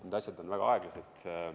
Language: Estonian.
Need asjad on väga aeglased.